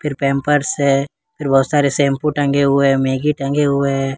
फिर पैम्पर्स है फिर बहुत सारे शैंपू टंगे हुए मैगी टंगे हुए है।